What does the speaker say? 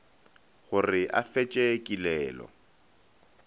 go re a fetše kilelo